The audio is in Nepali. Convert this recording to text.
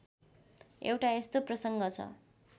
एउटा यस्तो प्रसङ्ग छ